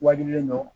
Wajibilen don